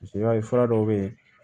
Paseke i b'a ye fura dɔw bɛ yen